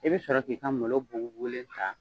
I bɛ sɔrɔ k'i ka malo bugubugulen ta